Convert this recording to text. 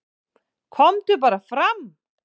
"""KOMDU BARA FRAM,"""